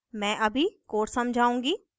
मैं अभी code समझाऊंगी